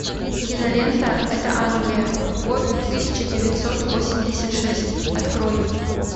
кинолента это англия год тысяча девятьсот восемьдесят шесть открой